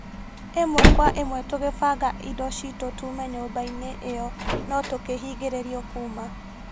Ĩmwe Kwa ĩmwe tũgĩbanga indo cĩtu tume nyũmba-inĩ ĩyo no tukĩhingĩrĩrio kuuma